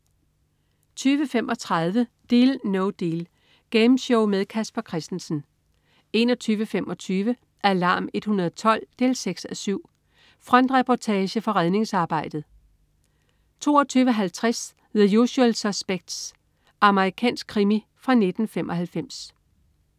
20.35 Deal No Deal. Gameshow med Casper Christensen 21.25 Alarm 112 6:7. Frontreportage fra redningsarbejdet 22.50 The Usual Suspects. Amerikansk krimi fra 1995